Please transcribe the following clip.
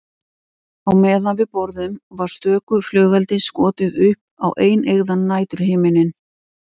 Á meðan við borðuðum var stöku flugeldi skotið upp á eineygðan næturhimininn.